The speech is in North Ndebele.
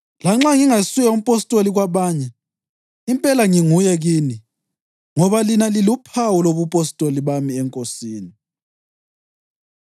Lanxa ngingasuye umpostoli kwabanye, impela nginguye kini! Ngoba lina liluphawu lobupostoli bami eNkosini.